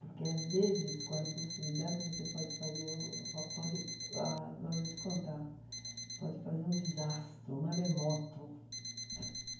Porque, às vezes, com a impulsividade, você pode fazer algo pode ah ah vou te contar, pode fazer um desastre, um maremoto.